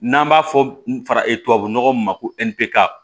N'an b'a fɔ faraba nɔgɔ min ma ko nɛnpuga